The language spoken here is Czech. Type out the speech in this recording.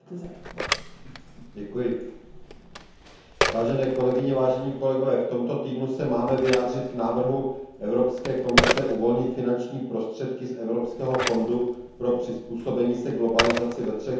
Vážené kolegyně, vážení kolegové, v tomto týdnu se máme vyjádřit k návrhu Evropské komise uvolnit finanční prostředky z Evropského fondu pro přizpůsobení se globalizaci ve třech případech Švédsko, Nizozemsko a Rakousko.